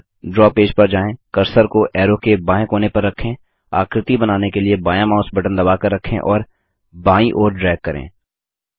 अब द्रव पेज पर जाएँ कर्सर को एरो के बाएँ कोने पर रखें आकृति बनाने के लिए बायाँ माउस बटन दबाकर रखें और बायीं ओर ड्रैग करें